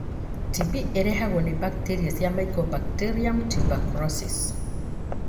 TB ĩrehagwo nĩ bakteria cia Mycobacterium tuberculosis.